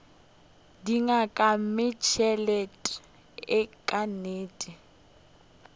di nyaka mmešelet ka nnete